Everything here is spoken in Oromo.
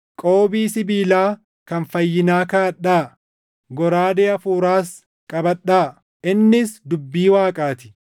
Qoobii sibiilaa kan fayyinaa kaaʼadhaa; goraadee Hafuuraas qabadhaa; innis dubbii Waaqaa ti.